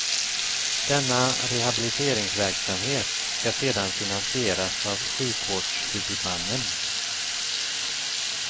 Denna rehabiliteringsverksamhet ska sedan finansieras av sjukvårdshuvudmannen.